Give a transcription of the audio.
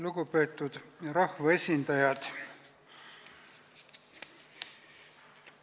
Lugupeetud rahvaesindajad!